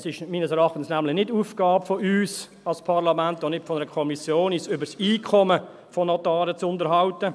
Es ist, meines Erachtens, nämlich nicht Aufgabe von uns als Parlament, auch nicht von einer Kommission, uns über das Einkommen von Notaren zu unterhalten.